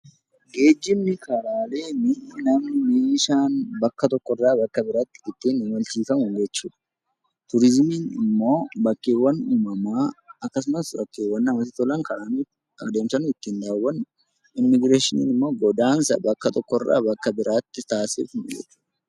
Geejjibni karaalee mi'i, namni, meeshaan bakka tokko irraa bakka biraatti ittiin imalchiifamu jechuu dha. Turizimiin immoo bakkeewwan uumamaa akkasumas bakkeewwan namatti tolan adeemsa nu ittiin daawwannu, immigireeshiniin immoo godaansa bakka tokko irraa bakka biraatti taasisfnu jechuu dha.